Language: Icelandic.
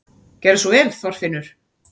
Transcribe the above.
Gerðu svo vel, Þorfinnur!